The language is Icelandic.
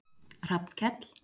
Hrafnkell